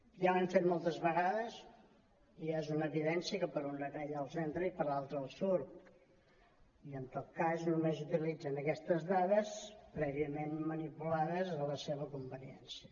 ja ho hem fet moltes vegades i ja és una evidència que per una orella els entra i per l’altra els surt i en tot cas només utilitzen aquestes dades prèviament manipulades a la seva con·veniència